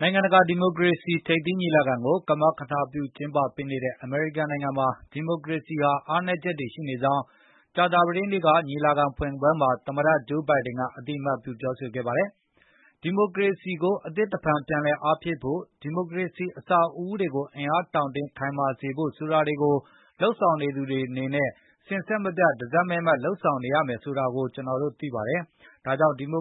နိုင်ငံကတာ ဒီမိုကရေစိထိပ်သီးညီလာကို ကမကထပြုကျင်းပပေးတဲ့ အမေရိကန်နိုင်ငံမှာ ဒီမိုကရေစီဟာ အားနည်းချက်တွေရှိနေကြောင်း ကြာသပတေးနေ့က ညီလာခံဖွင့်ပွဲမှာ သမတ Joe Biden ကအသိအမှတ်ပြု ပြောဆိုလိုက်ပါတယ်။ အမေရိကန်ပြည်ထောင်စုမှာ ဒီမိုကရေစီကိုအသစ်တဖန်ပြန်လည်ဆန်းသစ်ဖို့နဲ့ ဒီမိုကရေစီ အဆောက်အဦးတွေကိုအင်အား တောင့်တင်းခိုင်မာစေဖို့ဆိုတာ စဉ်ဆက်မပြတ်တစိုက် မတ်မတ်လုပ်နေဖို့လိုအပ်တယ်ဆိုတာကျနော်တို့သိပါတယ်။ ဒါကြောင့် ဒီ -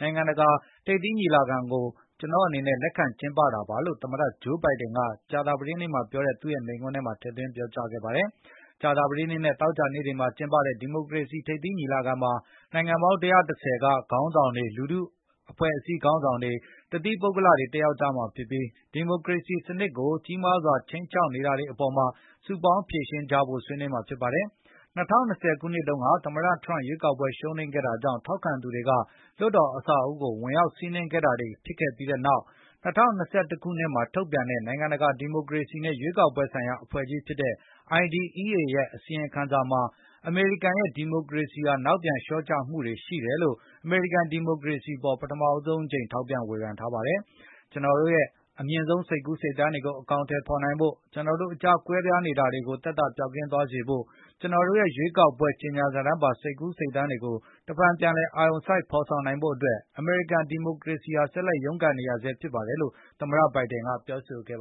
နိုင်ငံတကာ ဒီမိုကရေစီထိပ်အသီးအစည်းအဝေးကို ကျနော့်အနေနဲ့ လက်ခံကျင်းပတာပါလို့ သမတ Joe Biden က ကြာသာပတေးနေ့မှာပြောကြားတဲ့ သူ့ရဲ့အဖွင့်မိန့်ခွန်းထဲမှာ ထည့်သွင်းပြောကြား သွားပါတယ်။ ကြာသာပတေးနေ့နဲ့ သောကြာနေ့တွေမှာကျင်းပတဲ့ဒီမိုကရေစီထိပ်သီးညီလာခံမှာ၊ နိုင်ငံပေါင်း ၁၁၀ က ခေါင်းဆောင်တွေ၊လူထုအဖွဲ့အစည်းခေါင်းဆောင်တွေ၊ တသီးပုဂ္ဂလတွေတက် ရောက်ကြမှာဖြစ်ပြီး၊ ဒီမိုကရေစီစနစ်ကို ကြီးမားစွာခြိမ်းခြောက်ခံနေရတာတွေကို စုပေါင်း ဖြေရှင်းကြဖို့ဆွေးနွေးကြမှာဖြစ်ပါတယ်။ ၂၀၂၀ ခုနှစ်ကုန်က သမတထရန့်ရွေးကောက်ပွဲရှုံးနိမ့်ခဲ့တာကြောင့်ထောက်ခံသူတွေက လွှတ်တော်အဆောက်အဦးကိုဝင်ရောက်စီးနင်းတာတွေဖြစ်ခဲ့ပြီးနောက်၊ ၂၀၂၁ ခုနှစ် မှာ ထုတ်ပြန်တဲ့ နိုင်ငံတကာဒီမိုကရေစီနဲ့ရွေးကောက်ပွဲဆိုင်ရာအဖွဲ့ကြီးဖြစ်တဲ့ IDEA ရဲ့ အစီရင် ခံစာမှာ အမေရိကန်ရဲ့ ဒီမိုကရေစီဟာ နောက်ပြန်လျောကျမှုတွေရှိတယ်လို့ ပထမ ဆုံးအကြိမ် ထောက်ပြဝေဘန်ထားပါတယ်။ ကျနော်တို့ရဲ့အမြင့်ဆုံးစိတ်ကူး စိတ်သန်းတွေကို အကောင်အတည်ဖေါ်နိုင်ဖို့၊ ကျနော်တို့ အကြားကွဲပြားနေတာတွေကို သက်သာပျောက်ကင်းသွားစေဖို့၊ ကနော်တို့ရဲ ရွေးကောက်ပွဲ ကြေငြာစာတမ်းပါ စိတ်ကူးစိတ်သန်းတွေကို တဖန်ပြန်လည်အာရုံစိတ်ဖေါ်ဆောင်နိုင်ဖို့အတွက်အမေရိကန်ဒီမိုကရေစီဟာဆက်လက်ရုန်းကန်နေရဆဲဖြစ်တယ်လို့ သမတ Joe Biden ကပြောဆိုခဲ့ပါ